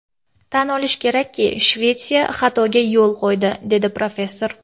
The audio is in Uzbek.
Tan olish kerakki, Shvetsiya xatoga yo‘l qo‘ydi”, dedi professor.